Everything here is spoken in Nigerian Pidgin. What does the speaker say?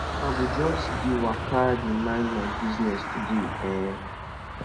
i go just dey waka dey mind my business today um